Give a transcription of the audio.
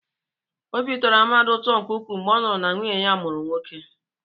Obi tọrọ Amadi ụtọ nke ukwuu mgbe ọ nụrụ na nwunye ya mụrụ nwoke.